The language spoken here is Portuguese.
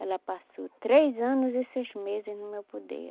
Ela passou três anos e seis meses no meu poder.